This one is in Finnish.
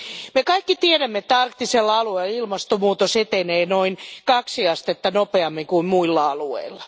Me kaikki tiedämme, että arktisella alueella ilmastonmuutos etenee noin kaksi astetta nopeammin kuin muilla alueilla.